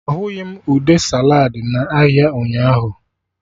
Ahụghị m ude saladị na ahịa ụnyaahụ